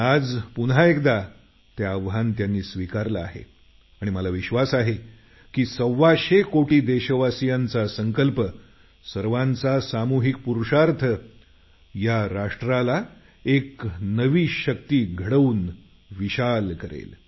आज पुन्हा एकदा ते आव्हान त्यांनी स्वीकारलं आहे आणि मला विश्वास आहे की सव्वाशे कोटी देशवासियांचा संकल्प सर्वांचा सामूहिक पुरुषार्थ या राष्ट्राला एक नवीन ताकद देऊन प्रशस्त करेल